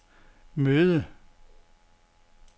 møde